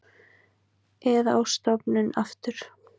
Eða á stofnun aftur.